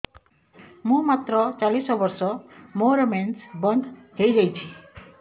ମୁଁ ମାତ୍ର ଚାଳିଶ ବର୍ଷ ମୋର ମେନ୍ସ ବନ୍ଦ ହେଇଯାଇଛି